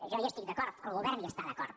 jo hi estic d’acord el govern hi està d’acord